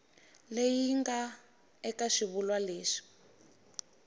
leyi nga eka xivulwa lexi